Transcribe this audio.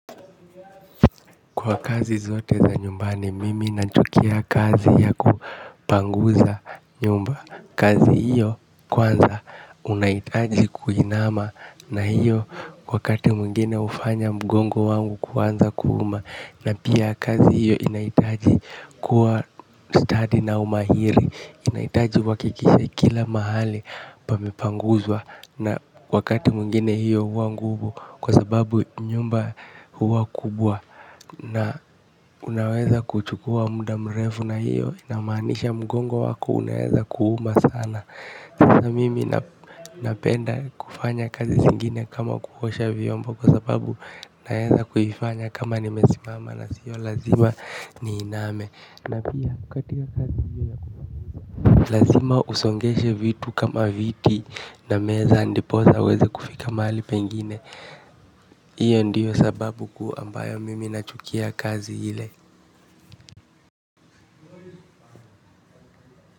Kwa kazi zote za nyumbani mimi nachukia kazi ya kupanguza nyumba. Kazi hiyo kwanza unaitaji kuinama na hiyo wakati mwingine hufanya mgongo wangu kuanza kuuma. Na pia kazi hiyo inaitaji kuwa study na umahiri inahitaji uhakikishe kila mahali pamepanguzwa. Na wakati mwingine hiyo huwa nguvu kwa sababu nyumba huwa kubwa. Na unaweza kuchukua muda mrefu na hiyo inamaanisha mgongo wako unaweza kuuma sana. Sasa mimi napenda kufanya kazi zingine kama kuosha vyombo kwa sababu unaweza kufanya kama nimesimama na sio lazima niiname. Lazima usongeshe vitu kama viti na meza ndipo sa uweze kufika mahali pengine hiyo ndiyo sababu kuu ambayo mimi nachukia kazi hile.